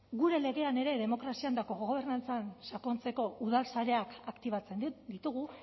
gure legean ere demokrazian eta kogobernantzan sakontzeko udalsareak aktibatzen ditugu